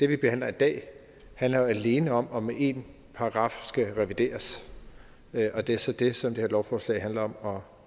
vi behandler i dag handler jo alene om om en paragraf skal revideres og det er så det som det her lovforslag handler om om